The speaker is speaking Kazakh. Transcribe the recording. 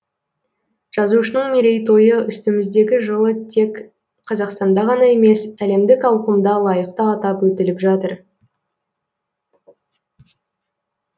жазушының мерейтойы үстіміздегі жылы тек қазақстанда ғана емес әлемдік ауқымда лайықты атап өтіліп жатыр